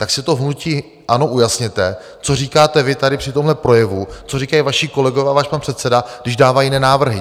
Tak si to v hnutí ANO ujasněte, co říkáte vy tady při tomhle projevu, co říkají vaši kolegové a váš pan předseda, když dávají jiné návrhy.